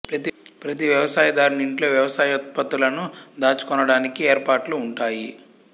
ప్రతి వ్యవసాయ దారుని ఇంట్లొ వ్యవసాయోత్పత్తులను దాచు కొనడానికి ఏర్పాట్లు ఉంటాయి